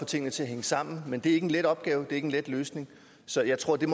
få tingene til at hænge sammen men det er ikke en let opgave det er ikke en let løsning så jeg tror der